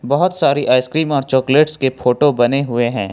बहोत सारे आइसक्रीम और चॉकलेट्स के फोटो बने हुए हैं।